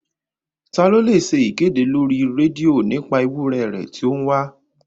Taa ló lọ ṣe ìkéde lórí rédíò nípa ewúrẹ̀ rẹ̀ tó ń wá?